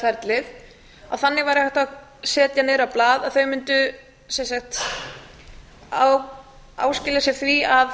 staðgöngumæðraferlið að þannig væri hægt að setja niður á blað að þau mundu sem sagt áskilja sér það að